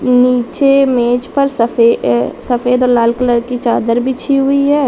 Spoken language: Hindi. नीचे मेज पर सफ़े सफ़ेद और लाल कलर की चादर बिछी हुई है।